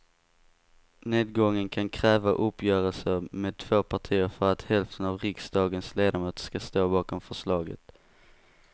Nedgången kan kräva uppgörelser med två partier för att hälften av riksdagens ledamöter ska stå bakom förslaget.